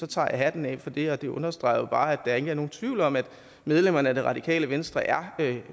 tager jeg hatten af for det og det understreger jo bare at der ikke er nogen tvivl om at medlemmerne af det radikale venstre er